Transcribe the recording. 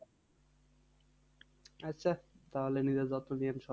আচ্ছা তাহলে নিজের যত্ন নিন।